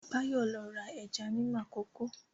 Báyọ̀ lọ ra ẹja ní Makòko